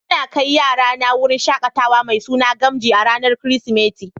N'na kai yara na wurin shakatawa mai suna Gamji a'ranan kiristimeti.